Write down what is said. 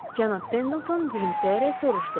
Cənab Pendleton gülümsəyərək soruşdu.